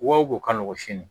Wa o b'o ka nɔgɔn sini